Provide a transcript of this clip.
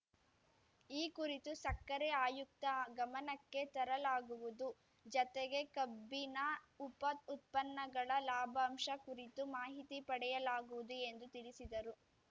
ಈ ಕುರಿತು ಸಕ್ಕರೆ ಆಯುಕ್ತ ಗಮನಕ್ಕೆ ತರಲಾಗುವುದು ಜತೆಗೆ ಕಬ್ಬಿನ ಉಪ ಉತ್ಪನ್ನಗಳ ಲಾಭಾಂಶ ಕುರಿತು ಮಾಹಿತಿ ಪಡೆಯಲಾಗುವುದು ಎಂದು ತಿಳಿಸಿದರು